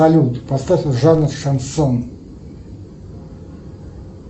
салют поставь жанр шансон